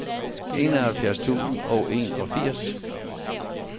enoghalvfjerds tusind og enogfirs